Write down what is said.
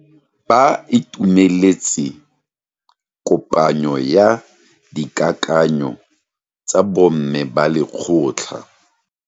Ba itumeletse kopanyo ya dikakanyo tsa bo mme ba lekgotla.